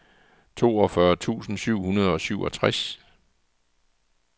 toogfyrre tusind syv hundrede og syvogtres